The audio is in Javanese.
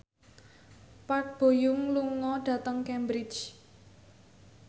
Park Bo Yung lunga dhateng Cambridge